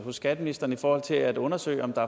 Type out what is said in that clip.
skatteministeren i forhold til at undersøge om der